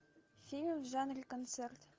фильм в жанре концерт